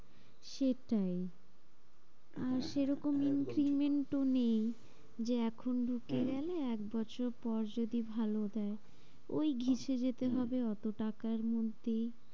সেটাই আর সেরকম increment ও নেই যে এখন ঢুকে হম গেলে একবছর পর যদি ভালো দেয়। ওই ঘেঁষে যেতে হবে অত টাকার মধ্যেই।